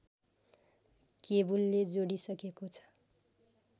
केबुलले जोडिसकेको छ